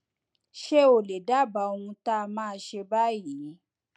ṣé o lè dábàá ohun tá a máa ṣe báyìí